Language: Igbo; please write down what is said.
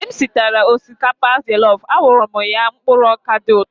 Mgbe m sichara osikapa jọlọf, a wụrụ m ya mkpụrụ ọkà dị ụtọ.